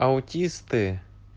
аутисты